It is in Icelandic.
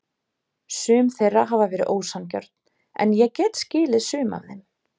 Sum þeirra hafa verið ósanngjörn en ég get skilið sum af þeim.